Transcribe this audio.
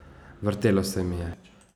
Vrtelo se mi je.